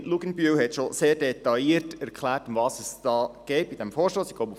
Die Kollegin Luginbühl hat schon sehr detailliert erklärt, worum es bei diesem Vorstoss geht.